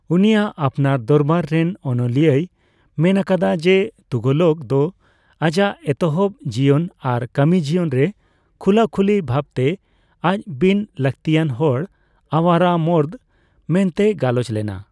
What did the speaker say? ᱩᱱᱤᱭᱟᱜ ᱟᱯᱱᱟᱨ ᱫᱚᱨᱵᱟᱨ ᱨᱮᱱ ᱚᱱᱚᱞᱤᱭᱟᱹᱭ ᱢᱮᱱ ᱟᱠᱟᱫᱟ ᱡᱮ ᱛᱩᱜᱷᱞᱚᱠ ᱫᱚ ᱟᱭᱟᱜ ᱮᱛᱚᱦᱚᱵ ᱡᱤᱭᱚᱱ ᱟᱨ ᱠᱟᱹᱢᱤ ᱡᱤᱭᱚᱱ ᱨᱮ ᱠᱷᱩᱞᱟᱹᱠᱷᱩᱞᱤ ᱵᱷᱟᱵᱽᱛᱮ ᱟᱡ ᱵᱤᱱ ᱞᱟᱹᱠᱛᱤᱭᱟᱱ ᱦᱚᱲ (ᱟᱣᱟᱨᱟ ᱢᱚᱨᱫᱽ) ᱢᱮᱱᱛᱮᱭ ᱜᱟᱞᱚᱪ ᱞᱮᱱᱟ ᱾